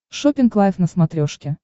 шоппинг лайв на смотрешке